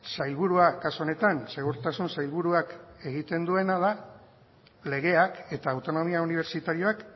sailburuak kasu honetan segurtasun sailburuak egiten duena da legeak eta autonomia unibertsitarioak